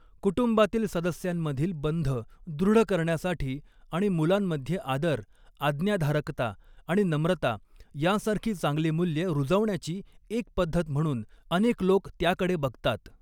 कुटुंबातील सदस्यांमधील बंध दृढ करण्यासाठी आणि मुलांमध्ये आदर, आज्ञाधारकता आणि नम्रता यांसारखी चांगली मूल्ये रुजवण्याची एक पद्धत म्हणून अनेक लोक त्याकडे बघतात.